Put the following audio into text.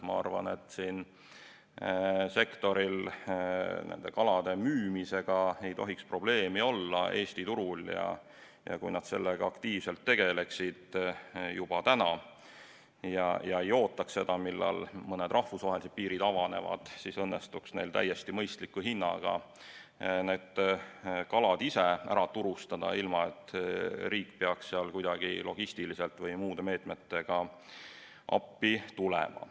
Ma arvan, et sellel sektoril ei tohiks Eesti turul kalade müümisega probleemi olla ja kui nad sellega aktiivselt tegeleksid juba täna ja ei ootaks seda, millal mõned rahvusvahelised piirid avanevad, siis õnnestuks neil täiesti mõistliku hinnaga need kalad ise ära turustada, ilma et riik peaks kuidagi logistiliselt või muude meetmetega appi tulema.